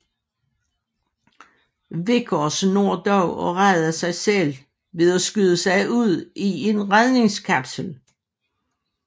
Vickers når dog at rede sig selv ved at skyde sig ud i en redningskapsel